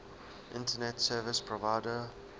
internet service provider